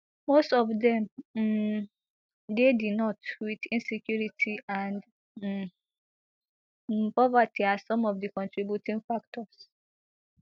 most of dem um dey di north with insecurity and um um poverty as some of di contributing factors